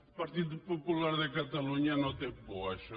el partit popular de catalunya no té por a això